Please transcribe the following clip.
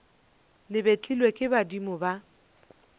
le betlilwe ke badimo ba